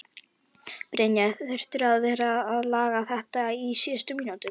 Brynja: Þurftirðu að vera að laga þetta á síðustu mínútunum?